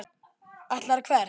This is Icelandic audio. Ætlarðu hvert?